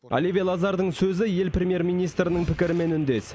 оливье лазардың сөзі ел премьер министрінің пікірімен үндес